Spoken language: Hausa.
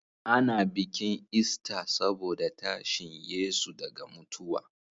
A na bikin ista saboda tashin yesu daga mutuwa